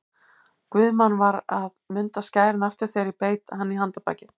Guðmann var að munda skærin aftur þegar ég beit hann í handarbakið.